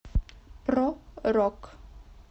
про рок